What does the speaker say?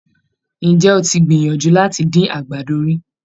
Ǹjẹ́ o ti gbìyànjú láti dín àgbàdo rí?